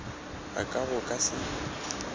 ga ka go ka se